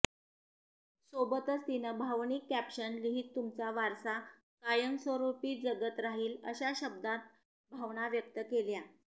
सोबतच तिनं भावनिक कॅप्शन लिहित तुमचा वारसा कायमस्वरुपी जगत राहील अशा शब्दांत भावना व्यक्त केल्या